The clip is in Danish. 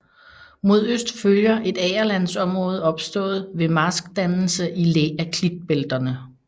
Mod øst følger et agerlandsområde opstået ved marskdannelse i læ af klitbælterne